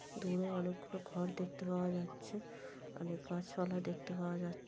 দূরে অনেকগুলো ঘর দেখতে পাওয়া যাচ্ছে অনেক গাছপালা দেখতে পাওয়া যাচ্ছ--